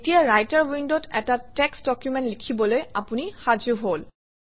এতিয়া ৰাইটাৰ উইণ্ডত এটা টেক্সট ডকুমেণ্ট লিখিবলৈ আপুনি সাজু হল